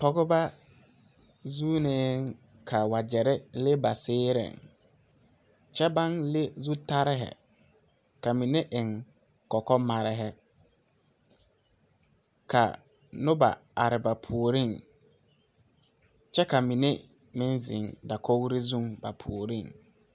Pɔgeba zuunee ka wagyere le ba seereŋ kyɛ baŋ le zutarehi ka mine eŋ kɔkɔmarehi ka noba are ba puoriŋ kyɛ ka mine meŋ zeŋ dakogri zuŋ a puoriŋ.